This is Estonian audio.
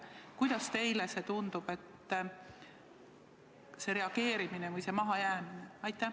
Kuidas teile selline reageerimine või mahajäämine tundub?